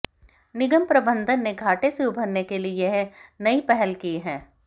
निगम प्रबंधन ने घाटे से उबरने के लिए यह नई पहल की है